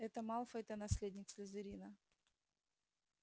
это малфой-то наследник слизерина